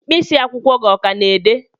mkpịsị akwụkwọ gị ọ ka na-ede?